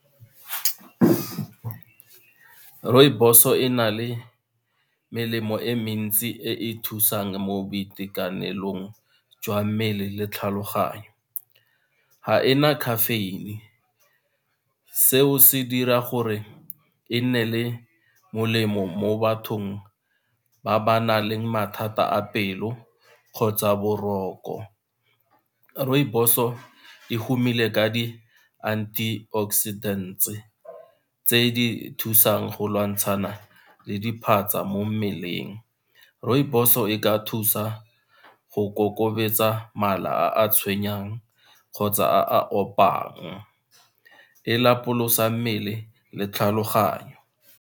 Rooibos-o e na le melemo e mentsi e e thusang mo boitekanelong jwa mmele le tlhaloganyo, ga ena caffeine seo se dira gore e nne le molemo mo bathong ba ba nang le mathata a pelo kgotsa boroko rooibos-o e humile ka di-anti oxidant tse di thusang go lwantshana le diphatsa mo mmeleng. Rooibos-o e ka thusa go ikokobetsa mala a tshwenyang kgotsa a a opang, e lapolosa mmele le tlhaloganyo.